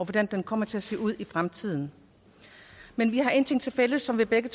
hvordan det kommer til at se ud i fremtiden men vi har en ting tilfælles som vi begge